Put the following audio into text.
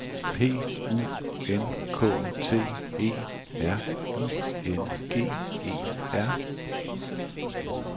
P U N K T E R I N G E R